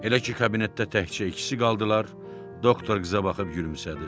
Elə ki kabinetdə təkcə ikisi qaldılar, doktor qıza baxıb gülümsədi.